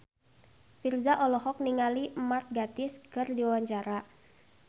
Virzha olohok ningali Mark Gatiss keur diwawancara